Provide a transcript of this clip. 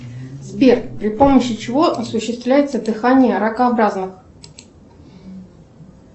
сбер при помощи чего осуществляется дыхание ракообразных